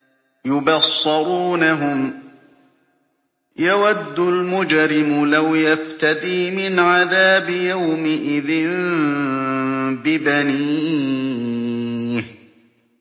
يُبَصَّرُونَهُمْ ۚ يَوَدُّ الْمُجْرِمُ لَوْ يَفْتَدِي مِنْ عَذَابِ يَوْمِئِذٍ بِبَنِيهِ